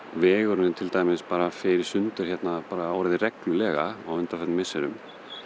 vegurinn til dæmis fer í sundur hérna bara orðið reglulega á undanförnum misserum